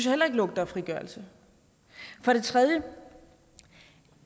heller ikke lugter frigørelse for det tredje